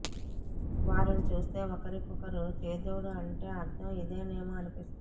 వారిని చూస్తే ఒకరికొకరు చేదోడు అంటే అర్థం ఇదేనేమో అనిపిస్తుంది